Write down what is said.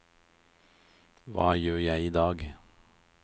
hva gjør jeg idag